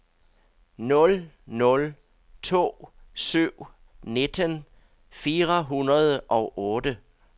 nul nul to syv nitten fire hundrede og otte